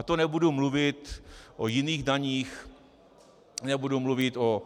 A to nebudu mluvit o jiných daních, nebudu mluvit o